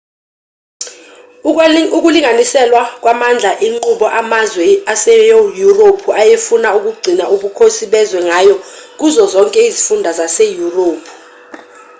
ukulinganiselwa kwamandla inqubo amazwe aseyurophu ayefuna ukugcina ubukhosi bezwe ngayo kuzo zonke izifunda zaseyurophu